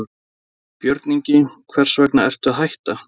Lára: Björn Ingi, hvers vegna ertu að hætta?